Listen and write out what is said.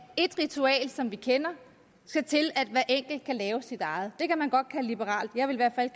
ét ritual som vi kender skal til at at hver enkelt kan lave sit eget det kan man godt kalde liberalt jeg vil